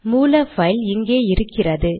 மூல பைல் இங்கே இருக்கின்றது